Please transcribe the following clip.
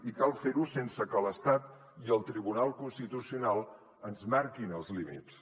i cal fer ho sense que l’estat i el tribunal constitucional ens en marquin els límits